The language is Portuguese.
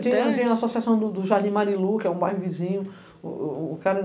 Tem, tem a associação do Jardim Marilu, que é um bairro vizinho.